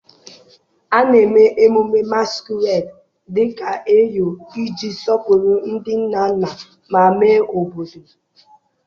A na-eme emume Masquerade dị ka Eyo iji sọpụrụ ndị nna nna ma mee obodo.